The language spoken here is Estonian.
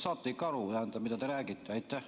Saate te ikka aru, mida te räägite?